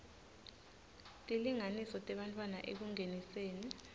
tilinganiso tebantfwana ekungeniseni